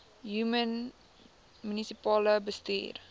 human munisipale bestuurder